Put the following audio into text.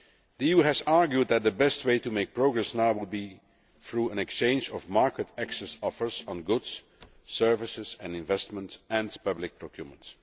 The EU has argued that the best way to make progress now would be though an exchange of market access offers on goods, services and investments and public procurement.